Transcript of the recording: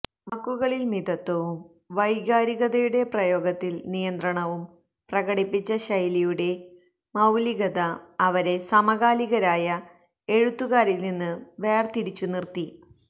വാക്കുകളിൽ മിതത്വവും വൈകാരികതയുടെ പ്രയോഗത്തിൽ നിയന്ത്രണവും പ്രകടിപ്പിച്ച ശൈലിയുടെ മൌലികത അവരെ സമകാലികരായ എഴുത്തുകാരിൽ നിന്ന് വേർതിരിച്ചു നിർത്തി